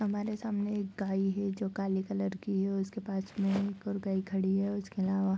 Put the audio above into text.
हमारे सामने एक गाय है जो काली कलर की है उसके पास में एक और गाय खड़ी है उसके अलावा |